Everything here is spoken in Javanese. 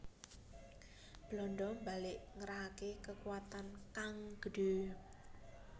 Belanda mbalik ngerahke kekuwatan kang gedhe